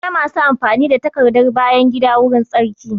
Akwai masu amfani da takardar bayan gida wurin tsarki